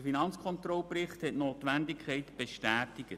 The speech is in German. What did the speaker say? Der Finanzkontrollbericht hat ihre Notwendigkeit bestätigt.